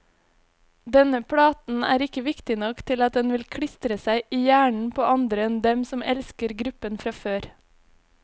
Denne platen er ikke viktig nok til at den vil klistre seg i hjernen på andre enn dem som elsker gruppen fra før.